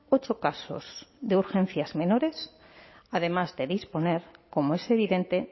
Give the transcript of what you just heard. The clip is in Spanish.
ocho casos de urgencias menores además de disponer como es evidente